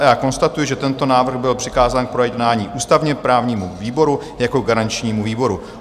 A já konstatuji, že tento návrh byl přikázán k projednání ústavně-právnímu výboru jako garančnímu výboru.